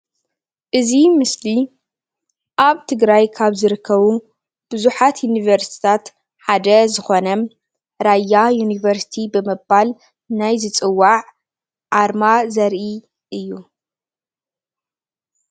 እዚ ምስሊ ኣብ ትግራይ ካብ ዝርከቡ ቡዙሓት ዩኒቨርስትታት ሓደ ዝኮነ ራያ ዩኒቨርስቲ ብምባል ናይ ዝፅዋዕ ኣርማ ዘርኢ እዩ፡፡